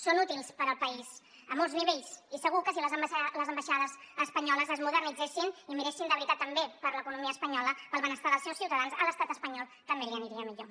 són útils per al país a molts nivells i segur que si les ambaixades espanyoles es modernitzessin i miressin de veritat també per l’economia espanyola pel benestar dels seus ciutadans a l’estat espanyol també li aniria millor